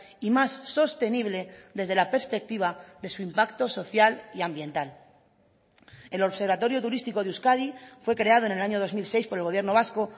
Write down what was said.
y más sostenible desde la perspectiva de su impacto social y ambiental el observatorio turístico de euskadi fue creado en el año dos mil seis por el gobierno vasco